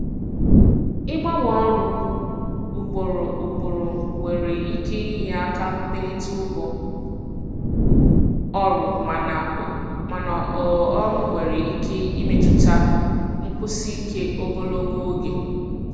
Ịgbanwe ọrụ ugboro ugboro nwere ike inye aka melite ụgwọ ọrụ mana ọ um nwere ike imetụta nkwụsi ike ogologo oge.